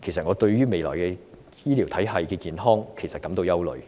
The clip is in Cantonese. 我對未來醫療體系的健康感到憂慮。